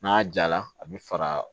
N'a jala a bɛ faga